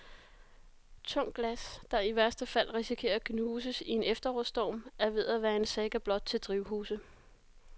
Tungt glas, der i værste fald risikerer at knuses i en efterårsstorm, er ved at være en saga blot til drivhuse.